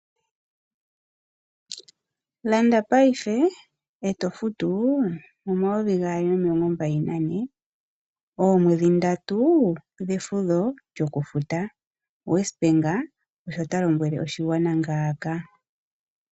Landa paife eto futu 2024 , omwedhi ndatu dhefudho lyo kufuta Westbank osho talombwele oshigwana ngaaka.